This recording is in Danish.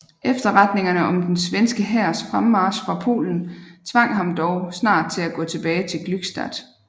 Efterretningerne om den svenske hærs fremmarch fra Polen tvang ham dog snart til at gå tilbage til Glückstadt